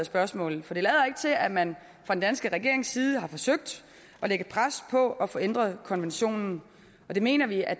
spørgsmålet for det lader ikke til at man fra den danske regerings side har forsøgt at lægge pres på at få ændret konventionen det mener vi at